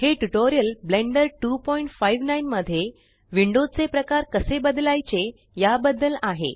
हे tutorial Blender 259मध्ये window चे प्रकार कसे बदलायचे या बद्दल आहे